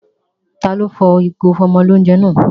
Taló fọ ìgò ìfọ́mọlóunjẹ náà?